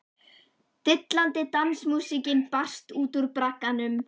Dillandi dansmúsíkin barst út úr bragganum.